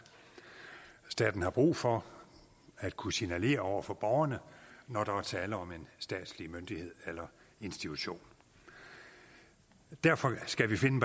staten har brug for at kunne signalere over for borgerne når der er tale om en statslig myndighed eller institution derfor skulle vi finde